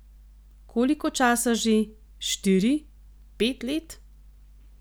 Koliko časa že, štiri, pet let?